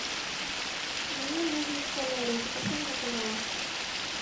мне нужно в солярий запиши меня пожалуйста